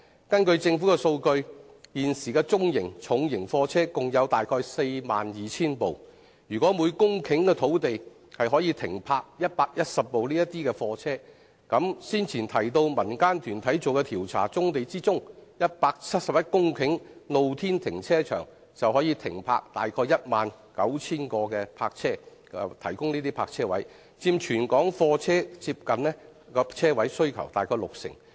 根據政府的數據，現時的中型和重型貨車共有約 42,000 輛，如果每公頃土地可以停泊110輛貨車，那麼先前提及的民間團體調查所指、用作露天停車場的171公頃棕地，便可以提供約 19,000 個泊車位，佔全港貨車泊車位接近六成。